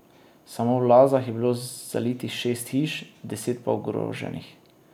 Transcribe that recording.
Samo v Lazah je bilo zalitih šest hiš, deset pa ogroženih.